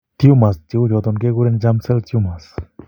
Tumors che uu choton ke kuren germ cell tumors.